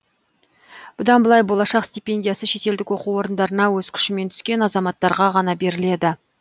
бұдан былай болашақ стипендиясы шетелдік оқу орындарына өз күшімен түскен азаматтарға ғана беріледі